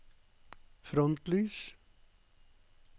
frontlys